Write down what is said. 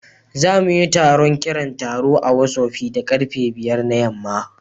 Za mu yi taron kiran taro a Whottsopi da karfe 5 na yamma